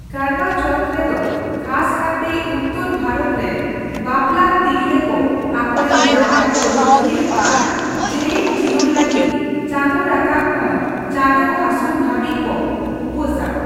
ᱠᱟᱨᱣᱟ ᱪᱚᱣᱛᱷ ᱨᱮᱫᱚ ᱠᱷᱟᱥ ᱠᱟᱨᱛᱮ ᱩᱛᱛᱚᱨ ᱵᱷᱟᱨᱚᱛ ᱨᱮᱱ ᱵᱟᱯᱞᱟᱱ ᱛᱤᱨᱞᱟᱹ ᱠᱚ ᱟᱠᱚᱨᱮᱱ ᱡᱟᱶᱟᱭ ᱠᱚ ᱨᱩᱠᱷᱤᱭᱟᱹ ᱟᱨ ᱡᱮᱞᱮᱧ ᱡᱤᱭᱚᱱ ᱞᱟᱹᱜᱤᱫ ᱪᱟᱸᱫᱩ ᱨᱟᱠᱟᱵᱽ ᱠᱷᱚᱱ ᱪᱟᱸᱫᱩ ᱦᱟᱹᱥᱩᱨ ᱦᱟᱹᱵᱤᱡᱽ ᱠᱚ ᱩᱯᱟᱹᱥᱼᱟ ᱾